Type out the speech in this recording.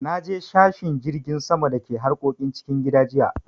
Naje sashen jirgin sama da ke harkokin cikin gida jiya.